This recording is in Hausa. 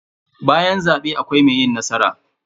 Bayan zabe akwai mai yi nasara.